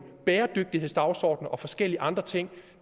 bæredygtighedsdagsordener og forskellige andre ting